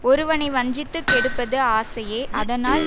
ஒருவனை வஞ்சித்து கெடுப்பது ஆசையே அதனால்